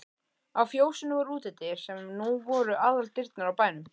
Á fjósinu voru útidyr sem nú voru aðaldyrnar á bænum.